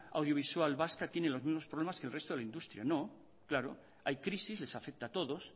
audiovisual vasca tiene los mismos problemas que el resto de la industria no claro hay crisis les afecta a todos